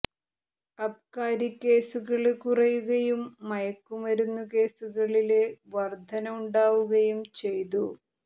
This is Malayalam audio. അബ്കാരി കേസുകള് കുറയുകയും മയക്കുമരുന്നു കേസുകളില് വര്ധന ഉണ്ടാവുകയും ചെയ്തു